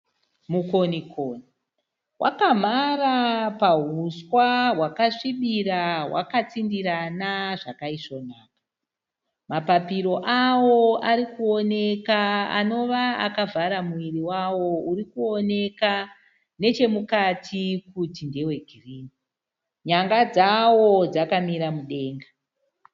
Mukonikoni wakamhara pauswa hwakasvibira hwakatsindirana zvakaisvonaka. Mapapiro awo ari kuoneka anova akavhara muviri wawo uri kuoneka nechomukati kuti ndewegirini. Nyanga dzawo dzakamira mudenga.